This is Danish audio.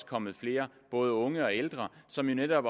kommet flere både unge og ældre som netop